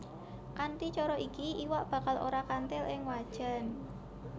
Kanthi cara iki iwak bakal ora kanthil ing wajan